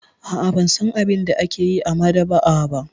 A'a, ban san abin da ake yi a maɗaba'a ba.